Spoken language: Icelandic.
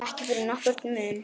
Ekki fyrir nokkurn mun.